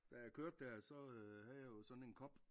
Da jeg kørte dér så øh havde jeg jo sådan en kop